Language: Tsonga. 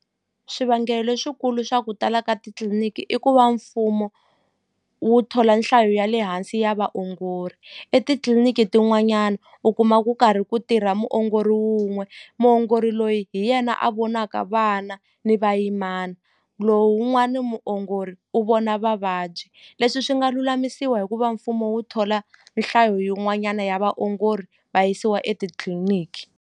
Swivangelo leswikulu swa ku tala ka titliliniki i ku va mfumo wu thola nhlayo ya le hansi ya vaongori etitliliniki tin'wanyana u kuma ku karhi ku tirha muongori wun'we muongori loyi hi yena a vonaka vana ni vayimana lowun'wani muongori u vona vavabyi leswi swi nga lulamisiwa hikuva mfumo wu thola nhlayo yin'wanyana ya vaongori va yisiwa etitliliniki.